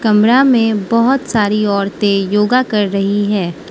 कमरा में बहोत सारी औरतें योगा कर रही है।